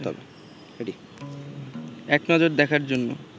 এক নজর দেখার জন্য